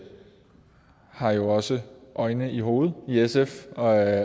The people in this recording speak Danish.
har jo også øjne i hovedet i sf og